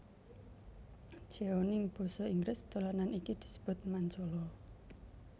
Jeoning basa Inggris dolanan iki disebut Mancala